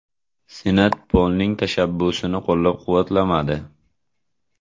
Senat Polning tashabbusini qo‘llab-quvvatlamadi.